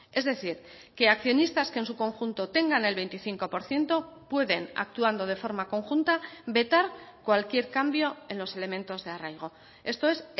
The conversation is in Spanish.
es decir que accionistas que en su conjunto tengan el veinticinco por ciento pueden actuando de forma conjunta vetar cualquier cambio en los elementos de arraigo esto es